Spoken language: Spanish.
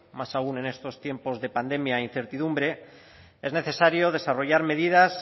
más aún en estos tiempos de pandemia e incertidumbre es necesario desarrollar medidas